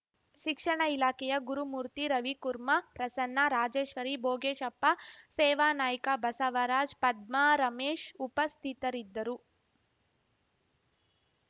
ಶಿಕ್ಷಣ ಇಲಾಖೆಯ ಗುರುಮೂರ್ತಿ ರವಿಕುರ್ಮಾ ಪ್ರಸನ್ನ ರಾಜೇಶ್ವರಿ ಬೋಗೇಶಪ್ಪ ಸೇವಾನಾಯ್ಕ ಬಸವರಾಜ್‌ ಪದ್ಮಾರಮೇಶ್‌ ಉಪಸ್ಥಿತರಿದ್ದರು